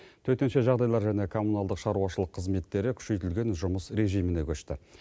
төтенше жағдайлар және коммуналдық шаруашылық қызметтері күшейтілген жұмыс режиміне көшті